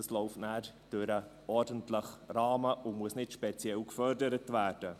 Das läuft nachher im ordentlichen Rahmen und muss nicht speziell gefördert werden.